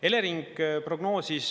Elering prognoosis …